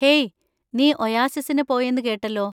ഹെയ്, നീ ഒയാസിസിന് പോയെന്ന് കേട്ടല്ലോ.